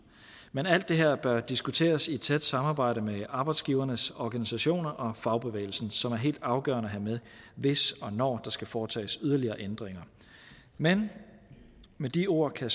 men alt det her bør diskuteres i tæt samarbejde med arbejdsgivernes organisationer og fagbevægelsen som er helt afgørende at have med hvis og når der skal foretages yderligere ændringer men med de ord kan